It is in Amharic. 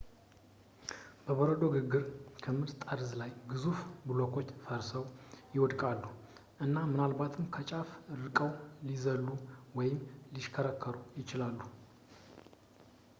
በበረዶ ግግር ክምር ጠርዝ ላይ ግዙፍ ብሎኮች ፈርሰው ፣ ይወድቃሉ እና ምናልባትም ከጫፉ ርቀው ሊዘሉ ወይም ሊሽከረከሩ ይችላሉ